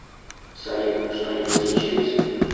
салют что нибудь случилось